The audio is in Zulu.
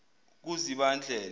kuzibandlela